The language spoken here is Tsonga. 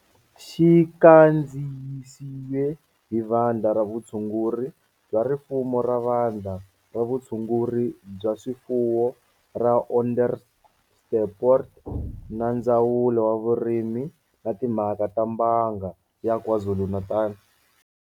Xi kandziyisile hi Vandla ra Vutshunguri bya swifuwo ra Vandla ra Vutshunguri bya swifuwo ra Onderstepoort na Ndzawulo ya Vurimi na Timhaka ta Mbanga ya KwaZulu-Natal.